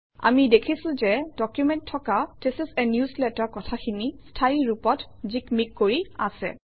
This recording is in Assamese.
আমি দেখিছোঁ যে ডকুমেণ্টত থকা থিচ ইচ a নিউজলেটাৰ কথাখিনি স্থায়ী ৰূপত জিকমিক কৰি আছে